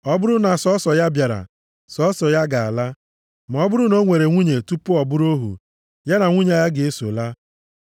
Ọ bụrụ na sọọsọ ya bịara, sọọsọ ya ga-ala, ma ọ bụrụ na o nwere nwunye tupu ọ bụrụ ohu, ya na nwunye ya ga-eso ala.